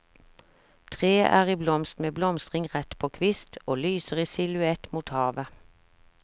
Treet er i blomst med blomstring rett på kvist, og lyser i silhuett mot havet.